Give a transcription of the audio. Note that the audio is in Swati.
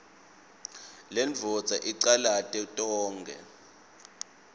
lendvodza icalate tonkhe